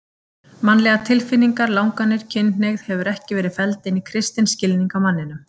Mannlegar tilfinningar, langanir, kynhneigð hefur ekki verið felld inn í kristinn skilning á manninum.